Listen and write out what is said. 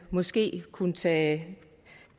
måske kunne tage